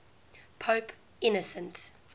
pope innocent